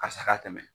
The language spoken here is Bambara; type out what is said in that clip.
Karisa ka tɛmɛ